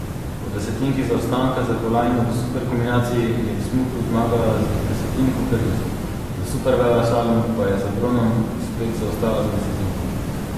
Po desetinki zaostanka za kolajno v superkombinaciji je v smuku zmagala z desetinko prednosti, v superveleslalomu pa je za bronom spet zaostala za desetinko.